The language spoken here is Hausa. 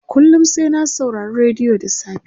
kullum sai na saurari rediyo da safe